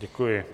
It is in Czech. Děkuji.